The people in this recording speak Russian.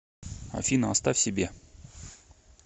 афина оставь себе